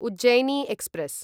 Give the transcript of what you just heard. Ujjaini express